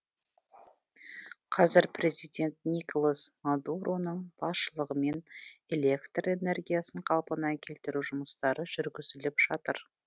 қазір президент николас мадуроның басшылығымен электр энергиясын қалпына келтіру жұмыстары жүргізіліп жатыр